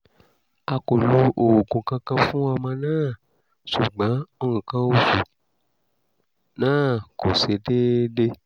a kò lo oògùn kankan fún ọmọ náà ṣùgbọ́n nǹkan oṣù náà kò ṣe déédé